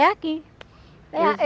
É aqui. É ah